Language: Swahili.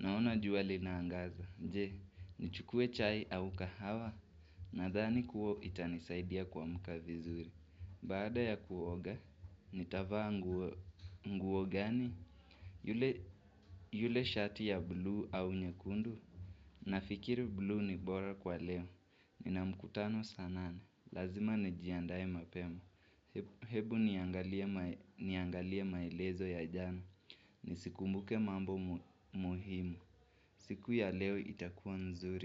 Naona jua linaangaza. Je, nichukue chai au kahawa. Nadhani kuwa itanisaidia kuamka vizuri. Baada ya kuoga, nitavaa nguo gani? Yule shati ya blue au nyekundu? Nafikiri blue ni bora kwa leo. Nina mkutano saa nane. Lazima nijiandae mapema. Hebu niangalie maelezo ya jana. Nisikumbuke mambo muhimu. Siku ya leo itakuwa nzuri.